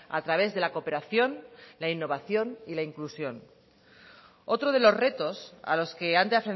a través de la cooperación la innovación y la inclusión otro de los retos a los que han de